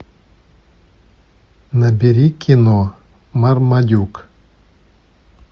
набери кино мармадюк